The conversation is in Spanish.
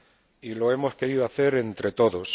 y lo hemos querido hacer entre todos.